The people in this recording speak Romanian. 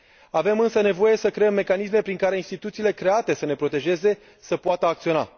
Avem însă nevoie să creăm mecanisme prin care instituțiile create să ne protejeze să poată acționa.